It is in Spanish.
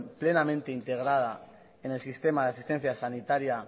plenamente integrada en el sistema de asistencia sanitaria